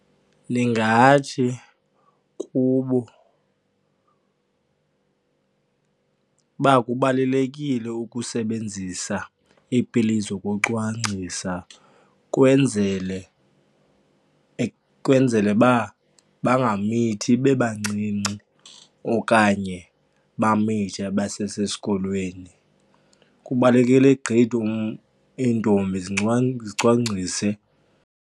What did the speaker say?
Ndingathi kubo uba kubalulekile ukusebenzisa iipilisi zokucwangcisa kwenzele kwenzele uba bangamithi bebancinci okanye bamithe basesesikolweni. Kubalulekile gqithi iintombi zicwangcise.